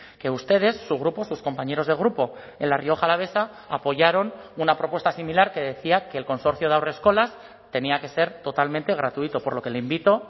que ustedes su grupo sus compañeros de grupo en la rioja alavesa apoyaron una propuesta similar que decía que el consorcio de haurreskolak tenía que ser totalmente gratuito por lo que le invito